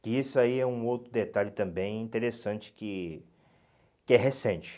Que isso aí é um outro detalhe também interessante que... Que é recente